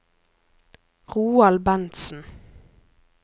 Roald Bentsen